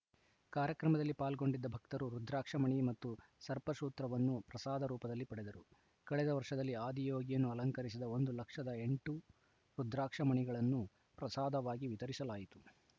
ಕಾರ್ಯಕ್ರಮದಲ್ಲಿ ಪಾಲ್ಗೊಂಡಿದ್ದ ಭಕ್ತರು ರುದ್ರಾಕ್ಷ ಮಣಿ ಮತ್ತು ಸರ್ಪ ಸೂತ್ರವನ್ನು ಪ್ರಸಾದ ರೂಪದಲ್ಲಿ ಪಡೆದರು ಕಳೆದ ವರ್ಷದಲ್ಲಿ ಆದಿಯೋಗಿಯನ್ನು ಅಲಂಕರಿಸಿದ ಒಂದು ಲಕ್ಷದ ಎಂಟು ರುದ್ರಾಕ್ಷ ಮಣಿಗಳನ್ನು ಪ್ರಸಾದವಾಗಿ ವಿತರಿಸಲಾಯಿತು